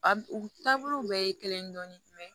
A u taabolow bɛɛ ye kelen dɔɔnin mɛn